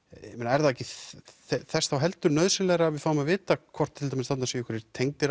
er það ekki þess þá heldur nauðsynlegra að við fáum að vita hvort til dæmis þarna séu einhverjir tengdir